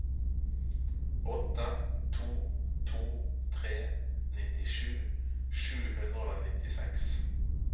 åtte to to tre nittisju sju hundre og nittiseks